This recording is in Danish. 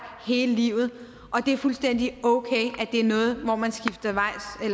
hele livet og at det er fuldstændig okay at det er noget hvor man skifter